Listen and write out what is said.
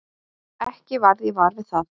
Ekki varð ég var við það.